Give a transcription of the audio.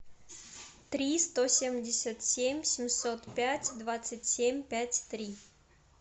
три сто семьдесят семь семьсот пять двадцать семь пять три